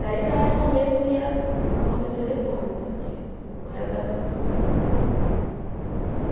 Daí já era o começo do que ia acontecer depois, né, porque o resto da vida toda foi assim.